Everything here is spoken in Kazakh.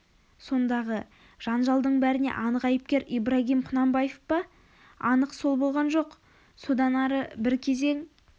сондағы жанжалдың бәріне анық айыпкер ибрагим құнанбаев па анық сол болған жоқ содан ары бір кезең